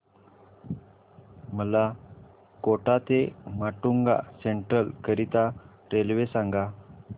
मला कोटा ते माटुंगा सेंट्रल करीता रेल्वे सांगा